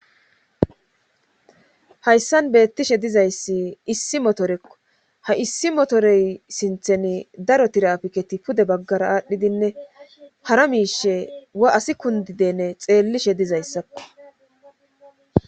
Hayssan beettishe dizayssi issi motorekko ha issi motorey sintheni daro tirapiketi pude baggara aadhdhidinne hara miishe wa asi kundidene xeellishe dizayssakko.